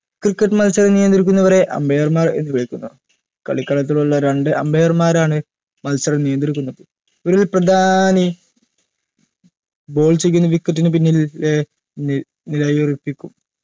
cricket മത്സരം നിയന്ത്രിക്കുന്നവരെ umpire മാർ എന്ന് വിളിക്കുന്നു കളികളത്തിലുള്ള രണ്ടു umpire മാരാണ് മത്സരം നിയന്ത്രിക്കുന്നത് ഒരു പ്രധാനി ball ചെയ്യുന്ന wicket നു പിന്നിൽ ഏർ നി നിലയുറപ്പിക്കും